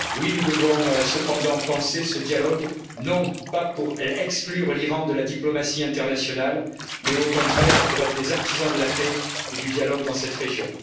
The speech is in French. Nous devons cependant penser ce dialogue, non pas pour exclure l'Iran de la diplomatie internationale, mais au contraire pour être des artisans de la paix et du dialogue dans cette région.